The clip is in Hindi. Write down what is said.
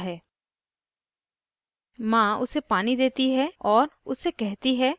खाना उसके दांतों के बीच फँस जाता है और वो ज़ोर से चीखता है